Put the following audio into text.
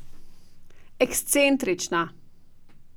Ekscentrična.